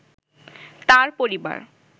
তাঁর পরিবার